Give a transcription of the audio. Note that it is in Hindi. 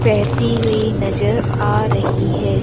बहती हुई नजर आ रही है।